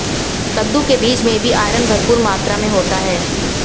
कद्दू के बीज में भी आयरन भरपूर मात्रा होता है